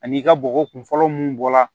Ani i ka bɔgɔ kun fɔlɔ mun bɔ la